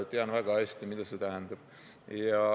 Tean väga hästi, mida see tähendab.